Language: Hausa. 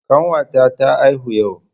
Kanwata ta haihu yau.